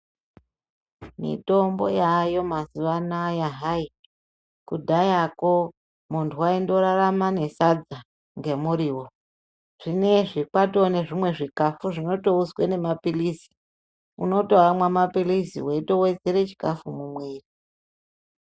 Mitombo yayo mazuwa anaya hayi kudhayako muntu aindorarama nesadza ngemuriwo zvinezvi kwato nezvimwe zvikafu zvinotounzwe nemapirizi unotoamwa mapirizi weitowedzera chikafu mumwiri.